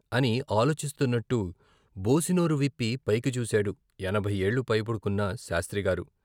" అని ఆలోచిస్తున్నట్టు బోసినోరు విప్పి పైకి చూశాడు ఎనభై ఏళ్ళు పైబడుకున్న శాస్త్రిగారు.